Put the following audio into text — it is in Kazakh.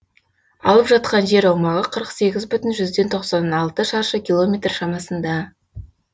алып жатқан жер аумағы қырық сегіз бүтін жүзден тоқсан алты шаршы километр шамасында